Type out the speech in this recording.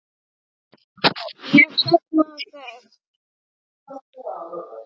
Ég sakna þess.